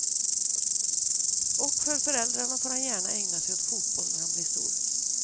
Och för föräldrarna får han gärna ägna sig åt fotboll när han blir stor.